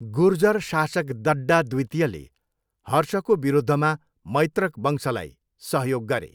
गुर्जर शासक दड्डा द्वितीयले हर्षको विरुद्धमा मैत्रक वंशलाई सहयोग गरे।